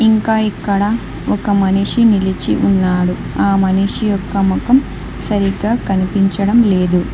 ఇంకా ఇక్కడ ఒక మనిషి నిలిచి ఉన్నాడు ఆ మనిషి యొక్క మొఖం సరిగ్గా కనిపించడం లేదు.